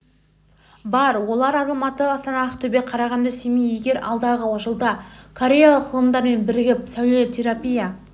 бар олар алматы астана ақтөбе қарағанды семей егер алдағы жылда кореялық ғалымдармен бірігіп сәулелі терапия